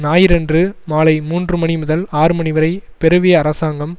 ஞாயிறன்று மாலை மூன்று மணி முதல் ஆறு மணி வரை பெருவிய அரசாங்கம்